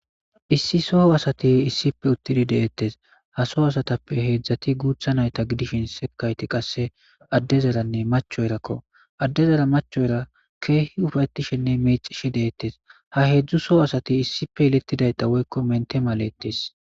Issi soo asati issife uttidi deettes ha soo asatappe heedzdzati guutha nayta gidishin sekayti qasse addezaranne macho erakko addezara machoyra keehi ufayetishenne meecishi deettes ha heedzdzu soo asati issipe yelettidayta woykko mente malettes.